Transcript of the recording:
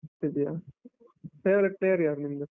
RCB ಯಾ? favorite player ಯಾರು ನಿಮ್ದು?